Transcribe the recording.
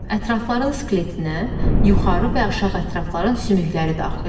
Ətrafların skeletinə yuxarı və aşağı ətrafların sümükləri daxildir.